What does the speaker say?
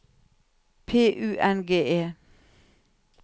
P U N G E